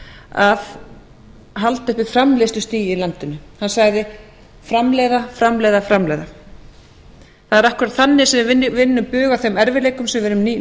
að halda uppi framleiðslustigi í landinu hann sagði framleiða framleiða framleiða það er akkúrat þannig sem við vinnum bug á þeim erfiðleikum sem við erum í